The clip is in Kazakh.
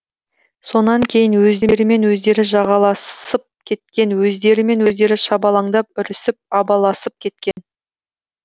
сонан кейін өздерімен өздері жағаласып кеткен өздерімен өздері шабалаңдап үрісіп абаласып кеткен